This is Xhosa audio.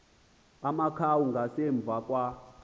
amakhawu ngasemva kwa